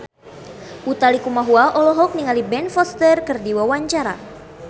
Utha Likumahua olohok ningali Ben Foster keur diwawancara